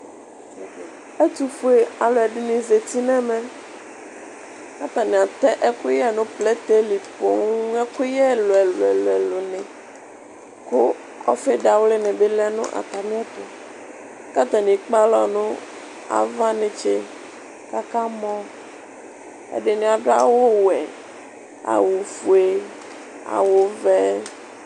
Ɛtʋfue alʋ ɛdini zati n'ɛmɛ k'atani atɛ ɛkʋyɛ nʋ plɛtɛ li poo, ɛkʋyɛ ɛlʋ ɛlʋ ɛlʋ ni, kʋ ɔfi dawli ni bi lɛ nʋ atamiɛtʋ, k'atani ekpe alɔ nʋ ava netse k'aka mɔ Ɛdini adʋ awʋ wɛ, awʋ fue, awʋ vɛ